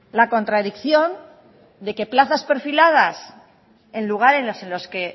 la contradicción de que plazas perfiladas en lugares en los que